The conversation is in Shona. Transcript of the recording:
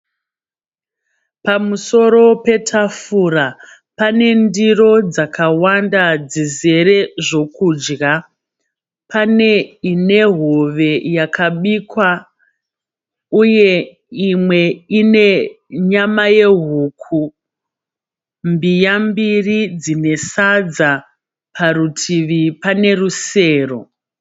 Pamusoro petafura pane ndiro dzakawanda dzizere zvokudya. Pane ine hove yakabikwa uye imwe ine nyama yehuku. Mbiya mbiri dzine sadza. Parutivi pane rusero.